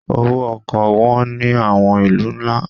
Owó ọkọ̀ wọn ní àwọn ìlú ńlá.